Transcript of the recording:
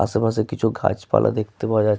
আসেপাশে কিছু গাছ পালা দেখতে পাওয়া যাচ্ --